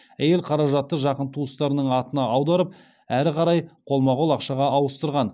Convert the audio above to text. әйел қаражатты жақын туыстарының атына аударып әрі қарай қолма қол ақшаға ауыстырған